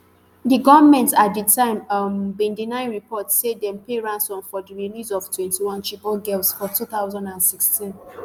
di goment at di time um bin deny reports say dem pay ransom for di release of twenty-one chibok girls for two thousand and sixteen